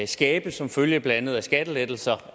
skabes som følge af blandt andet skattelettelser